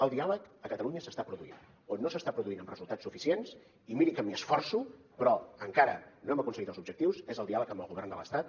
el diàleg a catalunya s’està produint on no s’està produint amb resultats suficients i miri que m’hi esforço però encara no hem aconseguit els objectius és en el diàleg amb el govern de l’estat